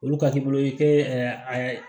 Olu ka k'i bolo i tɛ ɛɛ